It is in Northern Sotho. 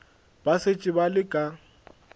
ba šetše ba le ka